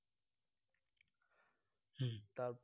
তাও ঠিক